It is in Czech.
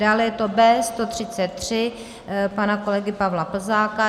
Dále je to B133 pana kolegy Pavla Plzáka.